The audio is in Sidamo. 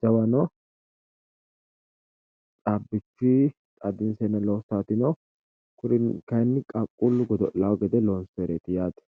jawa no caabbichuyi caabbisheenna loossati no kuri kayinni qaaqquli godo'lawo gede loonsooyite.